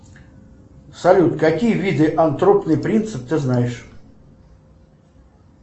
салют какие виды антропный принцип ты знаешь